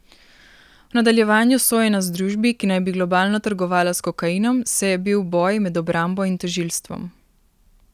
V nadaljevanju sojenja združbi, ki naj bi globalno trgovala s kokainom, se je bil boj med obrambo in tožilstvom.